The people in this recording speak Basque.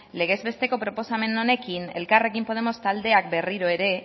legez besteko proposamen honekin elkarrekin podemos taldeak berriro ere